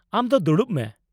ᱟᱢ ᱫᱚ ᱫᱩᱲᱩᱵ ᱢᱮ ᱾